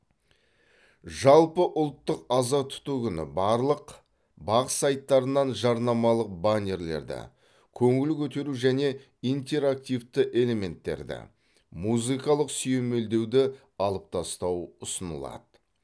жалпыұлттық аза тұту күні барлық бақ сайттарынан жарнамалық баннерлерді көңіл көтеру және интерактивті элементтерді музыкалық сүйемелдеуді алып тастау ұсынылады